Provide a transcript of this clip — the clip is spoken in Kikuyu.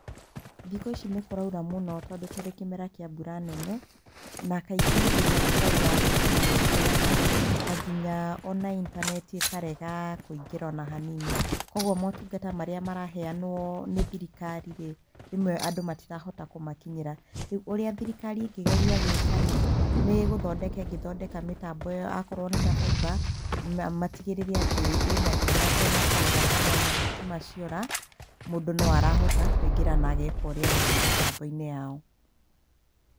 Thikũ ici nĩ kũraura mũno tũndo tũrĩ kĩmera kia mbura nene, na kaingĩ hĩndĩrĩa kũraura thitima nĩ ciũraga, na nginya ona intaneti ĩkarega kũingĩra ona hanini, koguo motungata marĩa maraheanwo nĩ thirikari rĩ, rĩmwe andũ matirahota kũmakinyĩra, ũrĩa thirikari ĩngĩgeria gwikarĩ, nĩ gũthondeka ĩngethondeka mitambo ĩyo akoro nĩta fibre matigĩrĩre atĩ ĩna hinya atĩ ona kwaura kana ona thitima ciora, mũndũ no arahota kũingĩra na ageka ũrĩa arenda mitambo-inĩ yao.